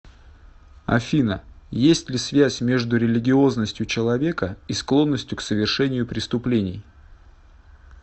афина есть ли связь между религиозностью человека и склонностью к совершению преступлений